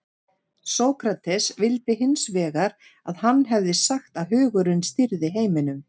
sókrates vildi hins vegar að hann hefði sagt að hugurinn stýrði heiminum